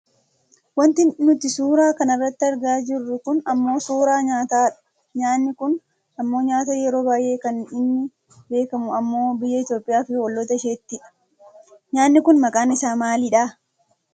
Wanti nuti suuraa kanarratti argaa jirru kun ammoo suuraa nyaatadha, nyaanni kun ammoo nyaata yeroo baayyee kan inni beekkamu ammoo biyya Itoopiyaa fi olloota isheettidha. Nyaanni kun maqaan isaa maalidha?